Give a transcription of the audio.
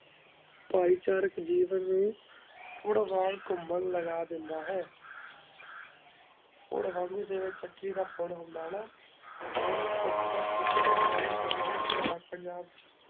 ਫਾਇ ਚਾਰਿਕ ਜੀਵਨ ਨੂ ਪੁਰ੍ਵਾਵੇ ਕੁਮਾਂ ਲਗਾ ਦਯ੍ਨ੍ਦਾ ਹੈ ਫੁਰ ਵਾਂਗੋ ਜਯ੍ਨ੍ਵਾਯ ਚਾਕੀ ਦਾ ਫੁਰ ਹੁੰਦਾ ਹਾਨਾ ਓਵਾਨੀ ਕੁਮ ਦਾ ਕੁਮ੍ਦਾ ਨਵੇ ਤੋ ਨਵੇ ਇਤ੍ਹਾਰ ਪੰਜਾਬ ਚ